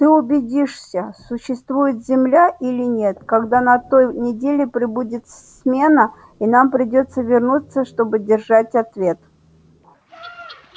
ты убедишься существует земля или нет когда на той неделе прибудет смена и нам придётся вернуться чтобы держать ответ